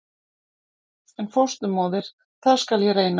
En fósturmóðir- það skal ég reyna.